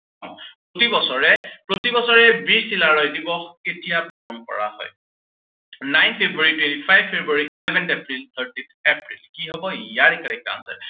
প্ৰতি বছৰে, প্ৰতিবছৰে বীৰ চিলাৰায় দিৱস কেতিয়া পালন কৰা হয়। nine February, twenty five February, eleventh April, thirteenth April কি হব ইয়াৰে correct answer